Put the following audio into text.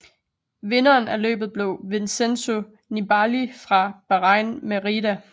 Vinderen af løbet blev Vincenzo Nibali fra Bahrain Merida